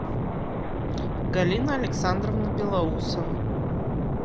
галина александровна белоусова